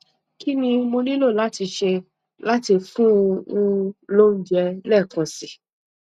kí ni mo nílò láti ṣe láti fún un lóúnjẹ lẹẹkan si